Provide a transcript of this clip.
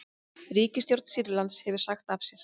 Ríkisstjórn Sýrlands hefur sagt af sér